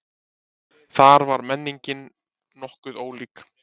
Þar var menningin nokkuð ólík.